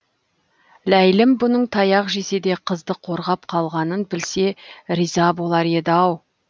ләйлім бұның таяқ жесе де қызды қорғап қалғанын білсе риза болар еді ау